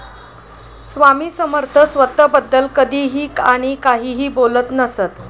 स्वामी समर्थ स्वतःबद्दल कधीही आणि काहीही बोलत नसत.